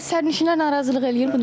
Bəs sərnişinlər narazılıq eləyir buna?